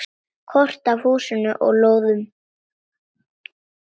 Kort af húsum og lóðum.